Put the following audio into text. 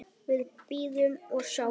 Við bíðum og sjáum.